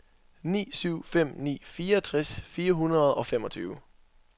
ni syv fem ni fireogtres fire hundrede og femogtyve